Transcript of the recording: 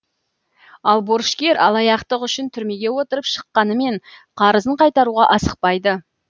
ал борышкер алаяқтық үшін түрмеге отырып шыққанымен қарызын қайтаруға асықпайды